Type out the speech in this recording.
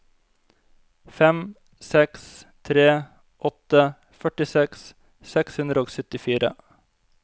fem seks tre åtte førtiseks seks hundre og syttifire